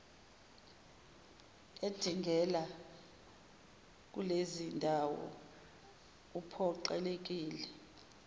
edingela kulezindawo uphoqelekile